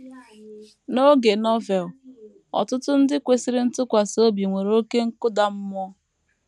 N’oge Novel, ọtụtụ ndị kwesịrị ntụkwasị obi nwere oké nkụda mmụọ.